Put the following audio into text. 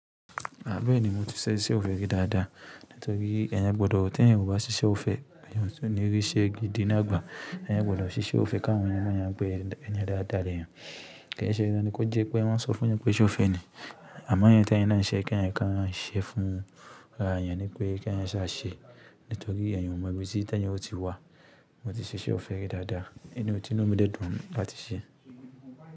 Bẹ́ẹ̀ni mo ti ṣe iṣẹ́ ọ̀fẹ́ rí dada nítorí ẹyin gbọdọ̀ tẹ́yìn o bá ṣiṣẹ́ o fẹ́. Ẹyin tún ní rí iṣẹ́ gidi náà gba ẹyin kò gbọdọ̀ ṣiṣẹ́ o fẹ́ káwọn ènìyàn mọ ẹyin pé ẹyin dáadáa lèèyàn. Kí ì ṣe dandan ni kó jẹ pé wọ́n sọ fún ẹyin pé iṣẹ́ o fẹ́ ni àmọ́ ẹyin tẹ́yìn ná ṣe kí ẹyin kán ṣe fún ara èèyàn ni pé kí èèyàn sá ṣe nítorí ẹyin ò mọ bí tí tẹ́yìn ó ti wá. Mo ti ṣiṣẹ́ ọ̀fẹ́ rí dada ti inú mi dẹ dùn láti ṣe.